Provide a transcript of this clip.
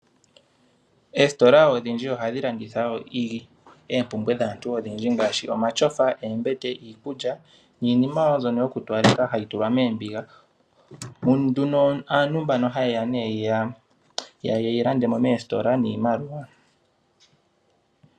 Oositola odhindji ohadhi landitha oompumbwe dhaantu odhindji ngaashi omatyofa, oombete, iikulya niinima wo mbyono yokutowaleka hayi tulwa moombiga. Aantu ohaye ke yi landa mo nduno moositola niimaliwa.